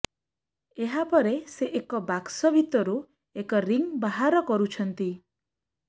ଏହାପରେ ସେ ଏକ ବାକ୍ସ ଭିତରୁ ଏକ ରିଙ୍ଗ ବାହାର କରୁଛନ୍ତି